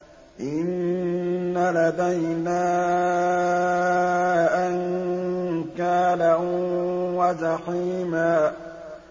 إِنَّ لَدَيْنَا أَنكَالًا وَجَحِيمًا